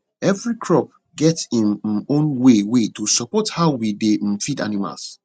every crop get im um own way way to support how we dey um feed animals